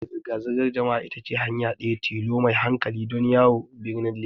Hanyar zirga-zirgar jama'a ita ce hanya ɗaya tilo mai hankali don yawo birnin Legas.